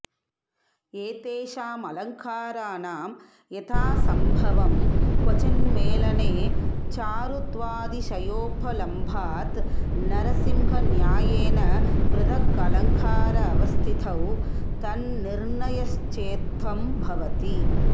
एतेषामलङ्काराणां यथासम्भवं क्वचिन्मेलने चारुत्वातिशयोपलम्भात् नरसिंहन्यायेन पृथगलङ्कारावस्थितौ तन्निर्णयश्चेत्थं भवति